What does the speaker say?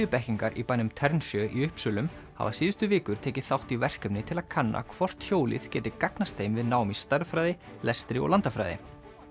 þriðjubekkingar í bænum í Uppsölum hafa síðustu vikur tekið þátt í verkefni til að kanna hvort hjólið geti gagnast þeim við nám í stærðfræði lestri og landafræði